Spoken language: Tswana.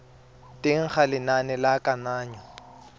teng ga lenane la kananyo